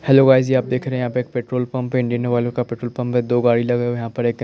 hello guys ये आप देख रहे हैं यहाँ पे एक पेट्रोल पंप हैं इंडियन ऑइल का पेट्रोल पंप हैं दो गाडी लगा हुआ हैं यहाँ पे--